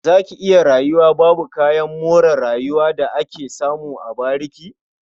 Za ki iya rayuwa babu kayan more rayuwa da ake samu a bariki?